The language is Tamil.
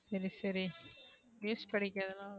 சரி சரி news படிகிறதுனால ஒன்னும்